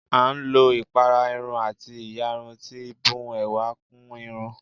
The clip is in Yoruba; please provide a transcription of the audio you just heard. À ń lò ipárá Irún àti íyarún tí bùn èwà kún Irún